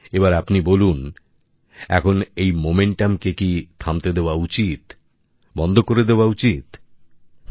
এবার আপনি বলুন এখন এই গতিকে থামতে দেওয়া উচিত বন্ধ করে দেওয়া উচিত না